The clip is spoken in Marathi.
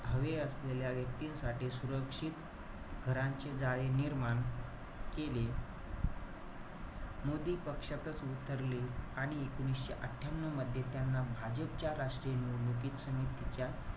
हवे असलेल्या व्यक्तींसाठी सुरक्षित घरांचे जाळी निर्माण केले. मोदी पक्षातच विसरले आणि एकोणीशे अठ्ठयांन्यू मध्ये त्यांना भाजपच्या राष्ट्रीय निवडणूक समितीच्या,